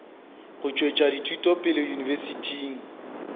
go tšwetša dithuto pele yunibesithing